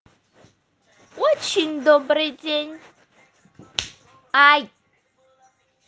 очень добрый день ай